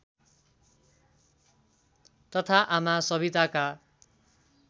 तथा आमा सविताका